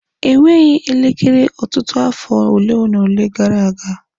Enweghị elekere Ọtụtụ narị afọ ole na ole gara aga.